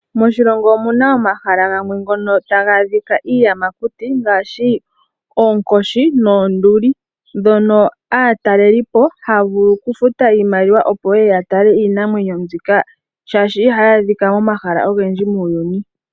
Moshilongo omuna omahala ngoka gamwe taga adhika iiyamakuti ngaashi oonkoshi noonduli, ndhono aatalelipo haya vulu okufuta iimaliwa opo yeye yatale iinamwenyo mbyika shaashi ihayi adhikwa momahala ogendji muuyuni.